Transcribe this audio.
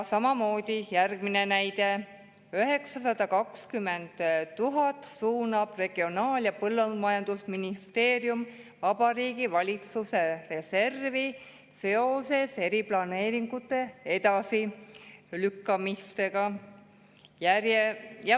Samamoodi järgmine näide: Regionaal- ja Põllumajandusministeerium suunab 920 000 Vabariigi Valitsuse reservi seoses eriplaneeringute edasilükkamisega.